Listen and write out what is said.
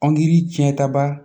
Angiri tiɲɛta ba